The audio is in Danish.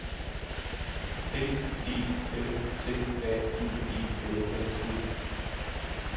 D E L T A G E L S E